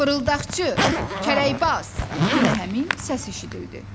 Fırıldaqçı, kələkbaz, yenə həmin səs eşidildi.